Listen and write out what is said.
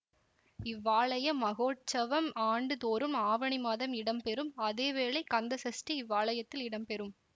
இவ்வாலய மகோற்சவம் ஆண்டு தோறும் ஆவணி மாதம் இடம்பெறும் அதேவேளை கந்த சஷ்டி இவ்வாலயத்தில் இடம்பெறும்